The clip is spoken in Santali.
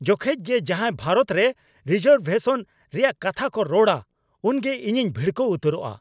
ᱡᱚᱠᱷᱮᱡ ᱜᱮ ᱡᱟᱦᱟᱭ ᱵᱷᱟᱨᱚᱛ ᱨᱮ ᱨᱤᱡᱟᱨᱵᱷᱮᱥᱚᱱ ᱨᱮᱭᱟᱜ ᱠᱟᱛᱷᱟ ᱠᱚ ᱨᱚᱲᱟ ᱩᱱᱜᱮ ᱤᱧᱤᱧ ᱵᱷᱤᱲᱠᱟᱹᱣ ᱩᱛᱟᱹᱨᱚᱜᱼᱟ ᱾